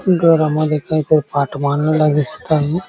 घरा मध्ये कायतरी पाट मांडलेला दिसत आहे.